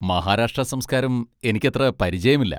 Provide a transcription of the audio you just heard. മഹാരാഷ്ട്രാ സംസ്കാരം എനിക്കത്ര പരിചയമില്ല.